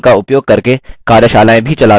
spoken tutorials का उपयोग करके कार्यशालाएँ भी चलाते हैं